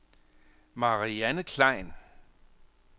Marianne Klein